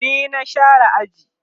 ni na share aji